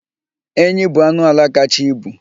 Enyi bụ anụ ala kacha ibu.